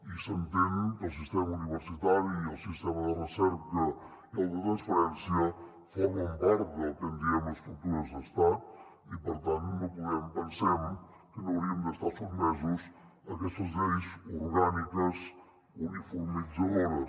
i s’entén que el sistema universitari i el sistema de recerca i el de transferència formen part del que en diem estructures d’estat i per tant pensem que no hauríem d’estar sotmesos a aquestes lleis orgàniques uniformitzadores